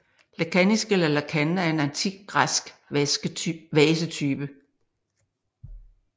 Lekanis eller lekane er en antik græsk vasetype